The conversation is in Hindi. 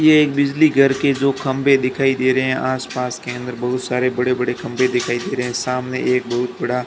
ये एक बिजली घर के दो खंबे दिखाई दे रहे हैं आसपास के अंदर बहुत सारे बड़े-बड़े खंबे दिखाई दे रहे हैं सामने एक बहुत बड़ा --